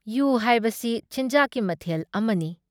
U ꯍꯥꯏꯕꯁꯤ ꯆꯤꯟꯖꯥꯛꯀꯤ ꯃꯊꯦꯜ ꯑꯃꯅꯤ